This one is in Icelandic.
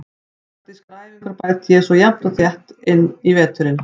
Taktískar æfingar bæti ég svo við jafnt og þétt inn í veturinn.